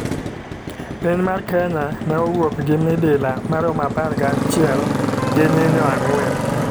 Piny mar kenya ne owuok gi midila maromo apar gachiel, gi nyinyo ang'wen.